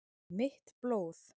Mitt blóð